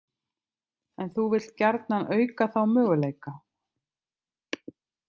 En þú vilt gjarnan auka þá möguleika.